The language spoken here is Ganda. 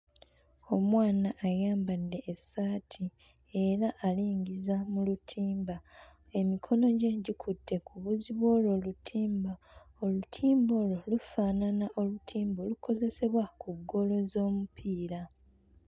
Omwana ayambadde essaati era alingiza mu lutimba emikono gye gikutte ku buwuzi bw'olwo olutimba olutimba olwo lufaanana olutimba olukozesebwa ku ggoolo z'omupiira.